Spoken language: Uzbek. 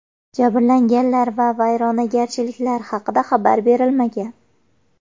Jabrlanganlar va vayronagarchiliklar haqida xabar berilmagan.